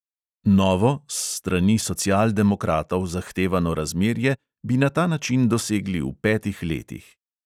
Novo, s strani socialdemokratov zahtevano razmerje bi na ta način dosegli v petih letih.